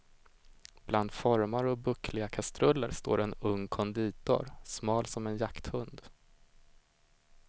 Bland formar och buckliga kastruller står en ung konditor, smal som en jakthund.